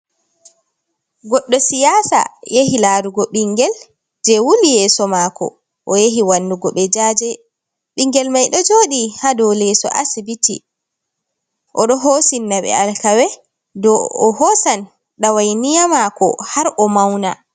Goɗɗo siyasa yahi larugo ɓingel je wuli yeso mako o yahi wannugo ɓe jaje ɓingel mai ɗo joɗi ha dow leso asibiti o ɗo hosinna ɓe alkawe dow o hosan dawainiya mako har o mauna.